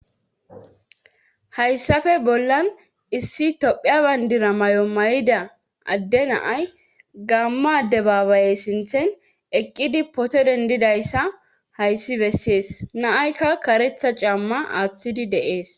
Hayssappe bollan issi tophiya banddira mayo mayida adde na'ay gaamo addebabaye sinththen eqqidi photo dendidayssa hayssi besees. na'aykka kareththa caama aatidi de'ees.